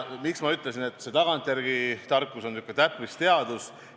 Miks ma ütlesin, et see tagantjärele tarkus on sihuke täppisteadus?